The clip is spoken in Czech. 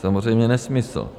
Samozřejmě nesmysl.